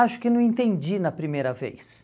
Acho que não entendi na primeira vez.